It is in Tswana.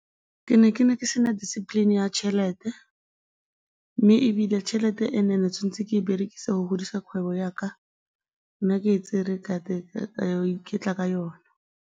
Ke ne ke ne ke se na discipline ya tšhelete mme ebile tšhelete ke tshwanetse ke e berekise go godisa kgwebo ya ka nna ke e tsere ka ya go iketla ka yona.